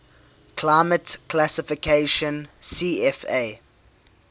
climate classification cfa